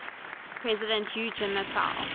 president hu jintao